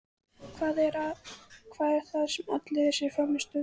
Hvað er það sem olli þessari frammistöðu?